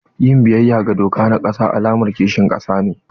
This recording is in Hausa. Yin biyayya ga doka na ƙasa alamar kishin ƙasa ne.